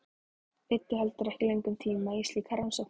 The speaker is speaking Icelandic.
Eyddu heldur ekki löngum tíma í slíkar rannsóknir.